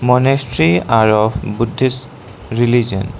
monastery are of buddhist religion.